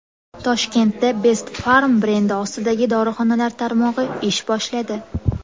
Toshkentda Best Pharm brendi ostidagi dorixonalar tarmog‘i ish boshladi.